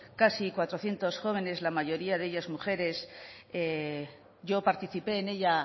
casi cuatrocientos jóvenes la mayoría de ellos mujeres yo participé en ella